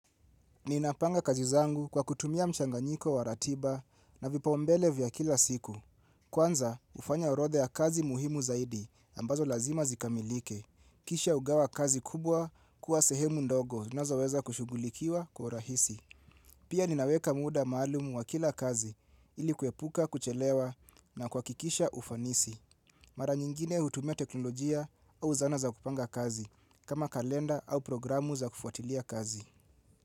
Ninapanga kazi zangu kwa kutumia mchanganyiko wa ratiba na vipaumbele vya kila siku. Kwanza, hufanya orodhaa kazi muhimu zaidi ambazo lazima zikamilike. Kisha hugawa kazi kubwa kuwa sehemu ndogo zinazoweza kushughulikiwa kwa urahisi. Pia ninaweka muda maalumu wa kila kazi ilikuepuka, kuchelewa na kuhakikisha ufanisi. Mara nyingine hutumia teknolojia au zana za kupanga kazi, kama kalenda au programu za kufuatilia kazi.